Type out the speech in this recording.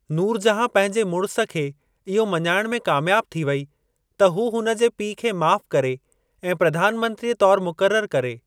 नूरजहां पंहिंजे मुड़िस खे इहो मञाइण में कामयाब थी वेई त हू हुनजे पीउ खे माफ़ करे ऐं प्रधानमंत्रीअ तौरु मुक़ररु करे।